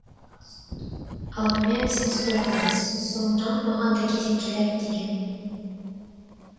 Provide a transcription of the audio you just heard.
алдымен сіз өтіңіз соңынан маған да кезек келер деген